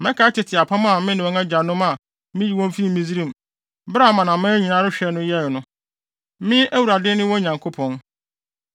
Mɛkae tete apam a me ne wɔn agyanom a miyii wɔn fii Misraim, bere a amanaman nyinaa rehwɛ no yɛe no. Me Awurade ne wɔn Nyankopɔn.’ ”